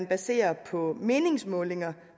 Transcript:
baserer på meningsmålinger